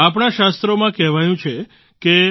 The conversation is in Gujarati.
આપણા શાસ્ત્રોમાં કહેવાયું છે કે